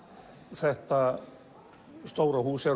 þetta stóra hús er